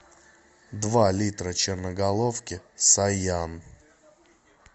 два литра черноголовки саян